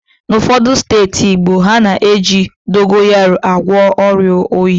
N'ụfọdụ steeti Igbo, ha na-eji dogayaro agwọ ọrịa oyi